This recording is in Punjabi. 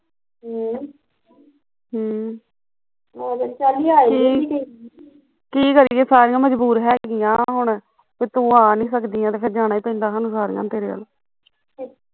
ਹਮ ਹਮ ਕੀ ਕਰੀਏ ਸਾਰੀਆਂ ਮਜਬੂਰ ਹੈਗੀਆ ਹੁਣ ਤੇ ਤੂੰ ਆ ਨੀ ਸਕਦੀ ਏ ਤੇ ਫਿਰ ਸਾਨੂੰ ਸਾਰੀਆਂ ਨੂੰ ਜਾਣਾ ਈ ਪੈਂਦਾ ਤੇਰੇ ਵੱਲ